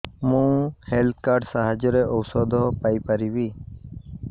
ମୁଁ health card ସାହାଯ୍ୟରେ ଔଷଧ ପାଇ ପାରିବି